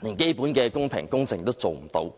以致選舉最基本的公平、公正都做不到。